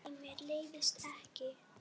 Nei, mér leiðist ekki.